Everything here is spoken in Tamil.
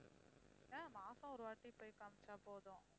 அதான் மாசம் ஒருவாட்டி போய் காமிச்சா போதும்